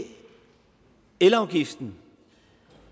elafgiften